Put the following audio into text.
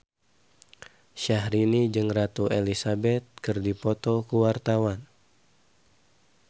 Syahrini jeung Ratu Elizabeth keur dipoto ku wartawan